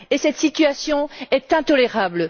Cette situation est intolérable.